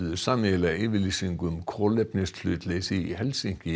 sameiginlega yfirlýsingu um kolefnishlutleysi í Helsinki